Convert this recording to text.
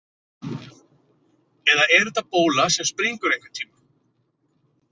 Eða er þetta bóla sem springur einhvern tíma?